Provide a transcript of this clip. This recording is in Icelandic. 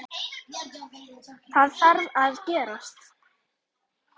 Það þarf að gerast.